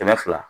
Kɛmɛ fila